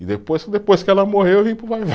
E depois, depois que ela morreu, eu vim para o vai-vai.